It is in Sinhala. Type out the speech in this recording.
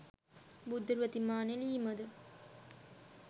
බුද්ධ ප්‍රතිමා නෙළීමද